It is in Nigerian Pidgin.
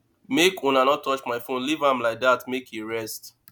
make una no touch my phone leave am like dat make im rest